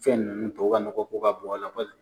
Fɛn nunnu tubabuw ka nɔgɔ ko ka bon a la